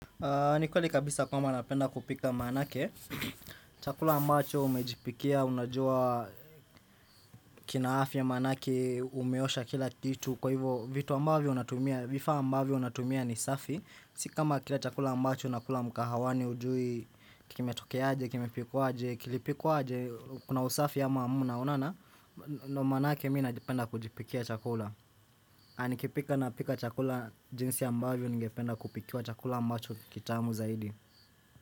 Nikweli kabisa kwamba napenda kupika maanake, chakula mbacho umejipikia, unajua kinaafya manake, umeosha kila kitu, kwa hivyo vitu ambavyo unatumia, vifaa ambavyo unatumia ni safi, sikama kila chakula mbacho unakula mkahawani hujui, kimetokeaje, kime pikwaje, kilipikwaje, kuna usafi ama hamna, unaona, ndo manake mima najipenda kujipikia chakula. Nanikipika na pika chakula jinsi ambavyo ungependa kupikia chakula mbacho ni kitamu zaidi.